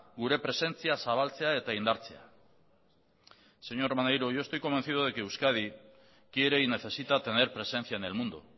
gure presentzia zabaltzea eta indartzea señor maneiro yo estoy convencido de que euskadi quiere y necesita tener presencia en el mundo